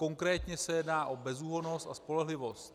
Konkrétně se jedná o bezúhonnost a spolehlivost.